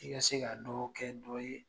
I ka se ka dɔ kɛ dɔ ye